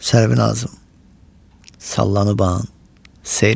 Sərvinazım sallanıban seyr elə.